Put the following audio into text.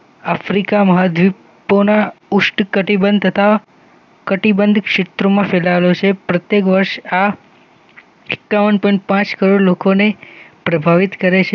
Africa મહાદ્વીપપૂણ ઉષ્ણકટિબંધ તથા કટિબંધ ક્ષેત્રમાં ફેલાયેલો છે. પ્રત્યેક વર્ષ આ એકાવન પોઈન્ટ પાંચ કરોડ લોકોને પ્રભાવિત કરેં છે